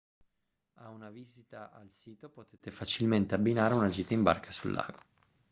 a una visita al sito potete facilmente abbinare una gita in barca sul lago